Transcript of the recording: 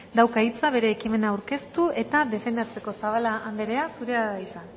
dauka hitza bere ekimena aurkeztu eta defendatzeko zabala anderea zurea da hitza